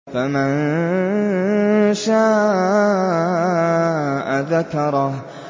فَمَن شَاءَ ذَكَرَهُ